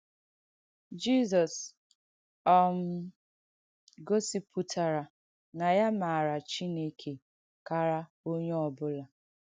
Jìzọ̀s um gọ̀sìpùtàrà na ya màarà Chìnèkè kàrà onye ọ bùlà.